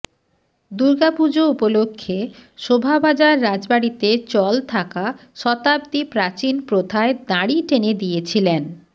দুর্গাপুজো উপলক্ষে শোভাবাজার রাজবাড়িতে চল থাকা শতাব্দী প্রাচীন প্রথায় দাঁড়ি টেনে দিয়েছিলেন